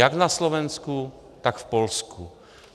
Jak na Slovensku, tak v Polsku.